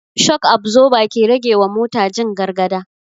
Shok absoba ke rage wa mota jin gargada